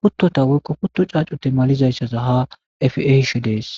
kuttota woykko kutto caacu te malizayssaza ha efi ehishe dees